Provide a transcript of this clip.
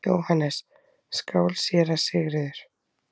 JÓHANNES: Skál, séra Sigurður!